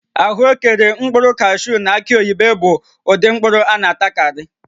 Ahụekere, mkpụrụ kashuu na aki oyibo bụ ụdị mkpụrụ a na-atakarị